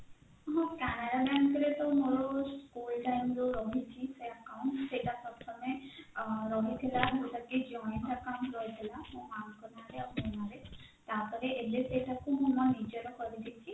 ହଁ canara bank ରେ ତ ମୋର school time ରୁ ରହିଛି ସେ account ସେଇଟା ପ୍ରଥମେ ରହିଥିଲା ଯଉଟା କି joint account ରହିଥିଲା ମୋ ମାଙ୍କ ନାଁ ରେ ଆଉ ମୋ ନାଁରେ ତାପରେ ଏବେ ସେଇଟାକୁ ମୁଁ ମୋ ନିଜର କରିଦେଇଛି